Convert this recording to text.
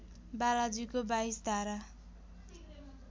बालाजुको २२ धारा